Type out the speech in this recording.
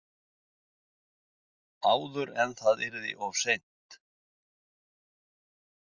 Áður en það yrði of seint.